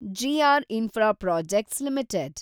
G R infra projects limited